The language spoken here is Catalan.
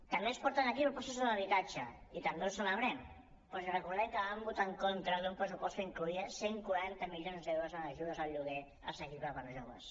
també ens porten aquí propostes sobre habitatge i també ho celebrem però els recordem que van votar en contra d’un pressupost que incloïa cent i quaranta milions d’euros en ajudes al lloguer assequible per a joves